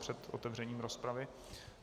Před otevřením rozpravy.